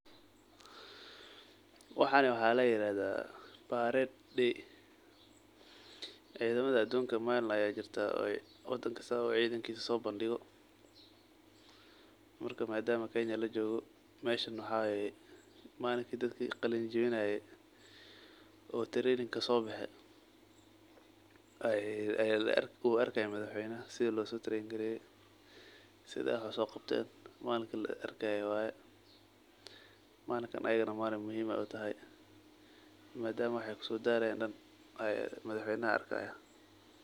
Waxan waxa layirahda parade day malin waxa jirta wadan kista uu sobandigo cidankisa madama kenya lajogo meeshan wxa waye malin dad qalin jawinaye oo taranin kasobexe ayu arka madaxweynaha side wax usoqabte iyaganaa muhiim utahay madama wexey kusodalayen madaxweynaha arkayo.